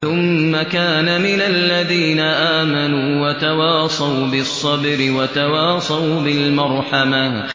ثُمَّ كَانَ مِنَ الَّذِينَ آمَنُوا وَتَوَاصَوْا بِالصَّبْرِ وَتَوَاصَوْا بِالْمَرْحَمَةِ